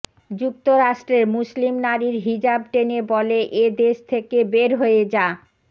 যুক্তরাষ্ট্রে মুসলিম নারীর হিজাব টেনে বলে এ দেশ থেকে বের হয়ে যা